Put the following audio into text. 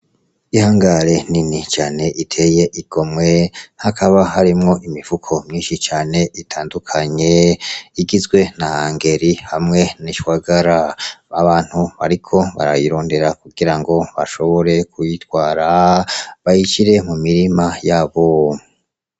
Ihangare nini cane iteye igomwe hakaba harimwo imifuko myinshi cane itandukanye igizwe na ngeri hamwe nishwagara ,abantu bariko barayirondera kugirango bashobore kuyitwara bayishire mu mirima yabo .